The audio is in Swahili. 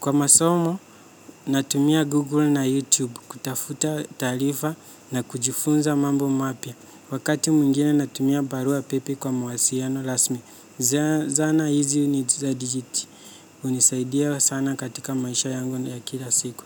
Kwa masomo, natumia google na youtube kutafuta taarifa na kujifunza mambo mapya. Wakati mwingine natumia barua pepe kwa mawasiliano rasmi. Zana hizi ni za hunisaidia sana katika maisha yangu ya kila siku.